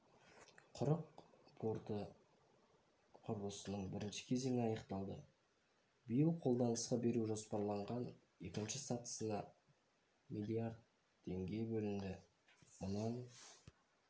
құрық порты құрылысының бірінші кезеңі аяқталды биыл қолданысқа беру жоспарланған екінші сатысына миллиард теңге бөлінді мұнан